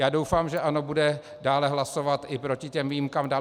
Já doufám, že ANO bude dále hlasovat i proti těm výjimkám dál.